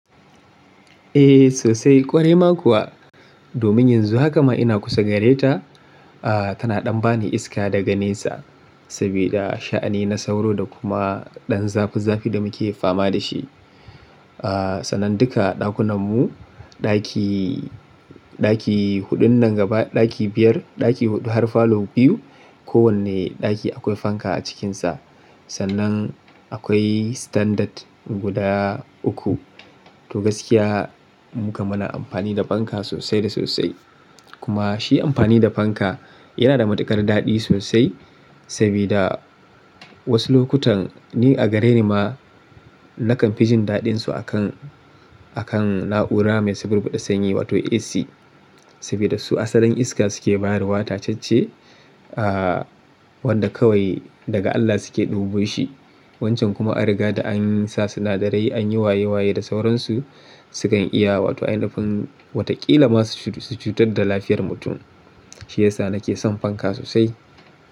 Eh sosai ƙwarai ma kuwa. Domin yanzu haka ma ina kusa gare ta, ah tana ɗan ba ni iska daga nesa sabida sha'ani na sauro da kuma ɗan zafi zafi da muke fama da shi. Ah sannan dika ɗakunan mu, ɗaki, ɗaki huɗun nan gaba, ɗaki biyar, ɗaki huɗu har falo biyu. Ko wanne ɗaki akwai fanka a cikinsa. Sannan akwai standard guda uku. To gaskiya mu kamana amfani da fanka sosai da sosai. Kuma shi amfani da fanka yana da matuƙar daɗi sosai saboda wasu lokutan ni a gare ni ma nakan fi jin daɗin su akan, akan na'ura mai sanyar da sanyi wato AC. Sabida su asalin iska suke bawa tacacce ah wanda kawai daga Allah suke ɗububo shi. Wancan kuma a riga da an sa sinadarai an yi waye waye da sauransu. Sukan iya wato a ainipin watakila masu cutar da lafiyar mutum. Shi yasa nake son fanka sosai.